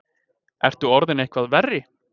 Ertu orðinn eitthvað verri?